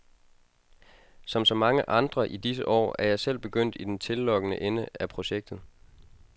Som så mange andre i disse år er jeg selv begyndt i den tillokkende ende af projektet.